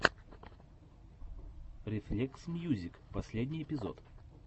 рефлексмьюзик последний эпизод